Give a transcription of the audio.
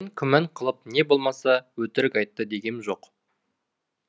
мен күмән қылып не болмаса өтірік айтты дегем жоқ